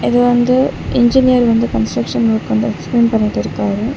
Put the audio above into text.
இது வந்து இன்ஜினியர் வந்து கன்ஸ்ட்ரக்ஷன் ஒர்க் வந்து எக்ஸ்பிளைன் பண்ணிட்டு இருக்காங்க.